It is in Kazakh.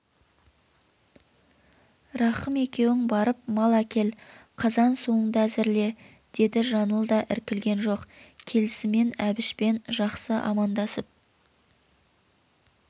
рахым екеуің барып мал әкел қазан-суынды әзірле деді жаңыл да іркілген жоқ келісімен әбішпен жақсы амандасып